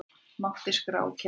Mátti skrá kennitölu